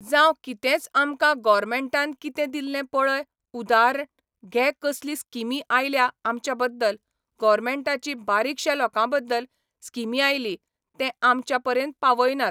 जावं कितेंच आमकां गॉरमँटान कितें दिल्लें पळय उदारण घे कसली स्किमी आयल्या आमच्या बद्दल, गॉवरमँटाची बारिकशा लोकां बद्दल स्कीमी आयली, तें आमच्या मेरेन पावयनात.